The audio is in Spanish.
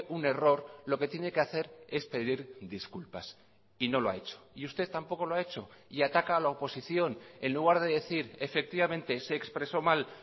un error lo que tiene que hacer es pedir disculpas y no lo ha hecho y usted tampoco lo ha hecho y ataca a la oposición en lugar de decir efectivamente se expresó mal